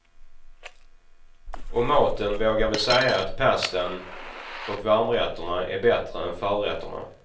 Om maten vågar vi säga att pastan och varmrätterna är bättre än förrätterna.